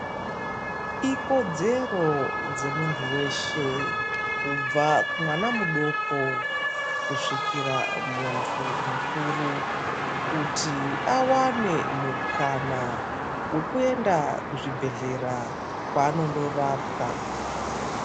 Ikodzero dzemunhu weshe kubva kumwana mudoko kusvikira kumunhu mukuru kuti awane mukana wekuenda kuzvibhehlera kwaanondorapwa